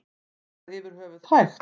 Er það yfir höfuð hægt?